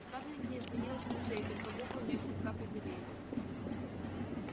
скарлетт не изменилась в лице и только губы у неё слегка побелели